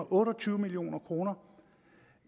otte og tyve million kroner